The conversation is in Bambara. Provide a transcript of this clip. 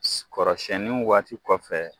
Kɔrɔsiyɛnnin waati kɔfɛ